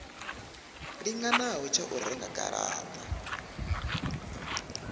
linganaho tsha u renga garata